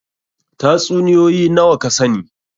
Tatsuniyoyi nawa ka sani?